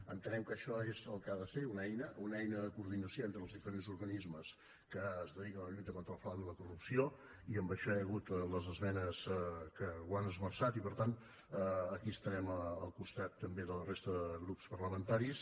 entenem que això és el que ha de ser una eina una eina de coordinació entre els diferents organismes que es dediquen a la lluita contra el frau i la corrupció i en això hi ha hagut les esmenes que ho han esmenat i per tant aquí estarem al costat també de la resta de grups parlamentaris